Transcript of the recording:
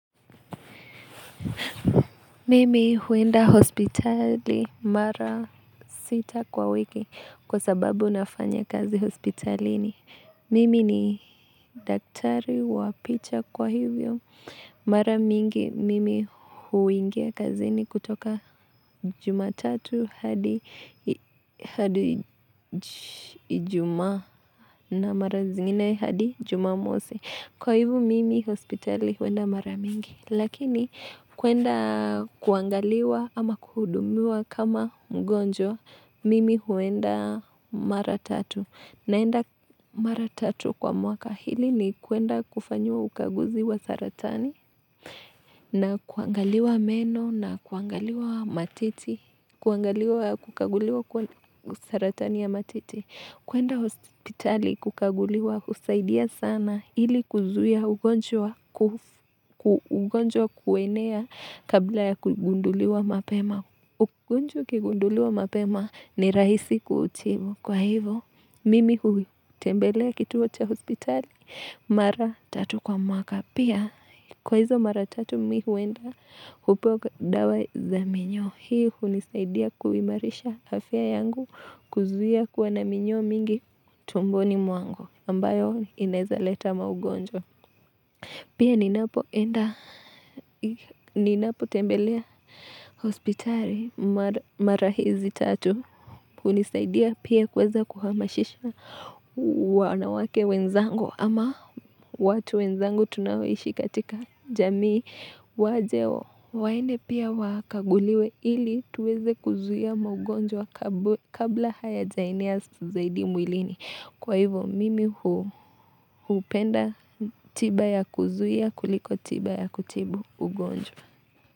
Mimi huenda hospitali mara sita kwa wiki kwa sababu nafanya kazi hospitalini. Mimi ni daktari wa picha kwa hivyo. Mara mingi mimi huingia kazini kutoka jumatatu hadi ijuma na mara zingine hadi jumamosi. Kwa hivyo mimi hospitali huenda mara mingi. Lakini kuenda kuangaliwa ama kuhudumiwa kama mgonjwa, mimi huenda mara tatu. Naenda mara tatu kwa mwaka hili ni kuenda kufanyiwa ukaguzi wa saratani na kuangaliwa meno na kuangaliwa matiti, kuangaliwa kukaguliwa saratani ya matiti. Kuenda hospitali kukaguliwa, husaidia sana ili kuzuia ugonjwa kuenea kabla ya kugunduliwa mapema. Ugonjwa ukigunduliwa mapema ni rahisi kuutibu. Kwa hivo, mimi huitembelea kituo cha hospitali, mara tatu kwa mwaka. Pia, kwa hizo mara tatu mimi huenda upo dawa za minyoo. Hii hunisaidia kuimarisha hafya yangu kuzuia kuwa na minyoo mingi tumboni mwangu ambayo inaeza leta maugonjwa. Pia ninapo enda ninapo tembelea hospitali mara hizi tatu. Hunisaidia pia kuweza kuhamashisha wanawake wenzangu ama watu wenzangu tunaoishi katika jamii waje. Waende pia wakaguliwe ili tuweze kuzuia maugonjwa kabla hayajaenea zaidi mwilini. Kwa hivyo mimi hupenda tiba ya kuzuia kuliko tiba ya kutibu ugonjwa.